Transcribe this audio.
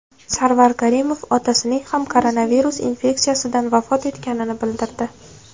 Sarvar Karimov otasining ham koronavirus infeksiyasidan vafot etganini bildirdi .